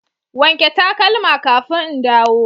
wanke takalma kafin in dawo.